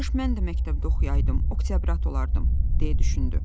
Kaş mən də məktəbdə oxuyaydım, oktyabrat olardım, deyə düşündü.